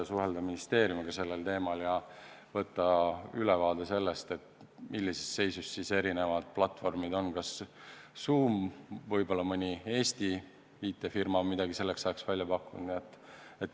Suhelge ministeeriumiga sellel teemal ja paluge ülevaadet, millises seisus erinevad platvormid on – kas Zoom või ehk mõni Eesti IT-firma saab midagi selleks ajaks välja pakkuda.